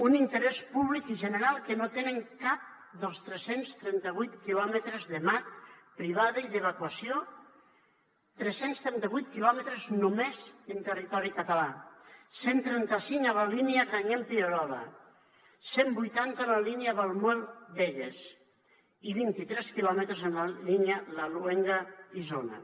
un interès públic i general que no tenen cap dels tres cents i trenta vuit quilòmetres de mat privada i d’evacuació tres cents i trenta vuit quilòmetres només en territori català cent i trenta cinc a la línia grañén pierola cent i vuitanta en la línia valmuel begues i vint tres quilòmetres en la línia laluenga isona